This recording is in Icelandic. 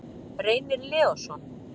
Reynir Leósson.